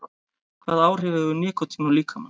Hvaða áhrif hefur nikótín á líkamann?